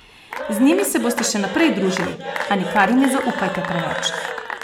Z njimi se boste še naprej družili, a nikar jim ne zaupajte preveč.